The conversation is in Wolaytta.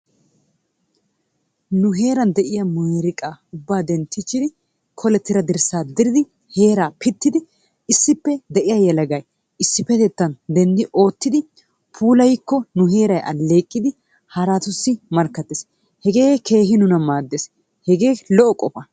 Nu heeran de'iya miiriqqaa ubba dentiichidi kolettida dirssaa diridi heeraa pittidi issippe de'iya yelagay issipetettan denddi oottidi puulayikko nu heeray aleeqqidi haraatussi mankkatees, hegee keehi nuna maadees, hegee lo'o qofa.